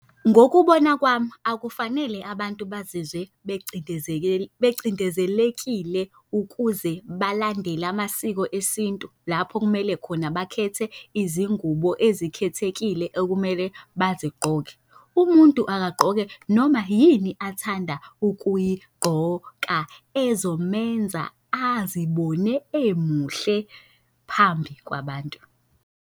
Ngokubona kwami akufanele abantu bazizwe becindezelekile ukuze balandele amasiko esintu, lapho kumele khona bakhethe izingubo ezikhethekile okumele bazigqoke. Umuntu akagqoke noma yini athanda ukuyigqoka ezomenza azibone emuhle phambi kwabantu.